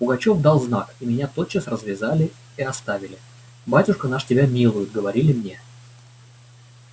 пугачёв дал знак и меня тотчас развязали и оставили батюшка наш тебя милует говорили мне